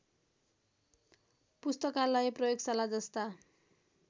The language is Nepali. पुस्तकालय प्रयोगशाला जस्ता